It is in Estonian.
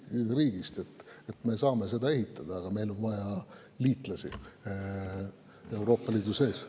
Me saame seda ehitada, meil on vaja liitlasi Euroopa Liidu sees.